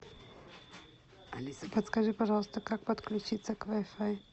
алиса подскажи пожалуйста как подключиться к вай фай